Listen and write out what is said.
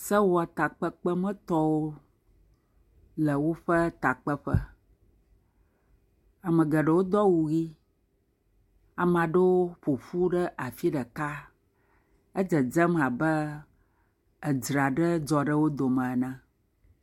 Sewɔtakpekpemetɔwo le woƒe takpeƒe, ame geɖewo do awu ʋe, ame aɖewo ƒoƒu ɖe afi ɖeka. Edzedzem abe edre aɖe dzɔ ɖe wo dome ene.